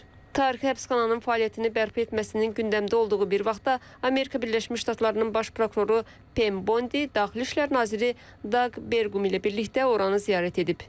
Tarixi həbsxananın fəaliyyətini bərpa etməsinin gündəmdə olduğu bir vaxtda Amerika Birləşmiş Ştatlarının Baş prokuroru Pen Bondi, Daxili İşlər naziri Daq Berqum ilə birlikdə oranı ziyarət edib.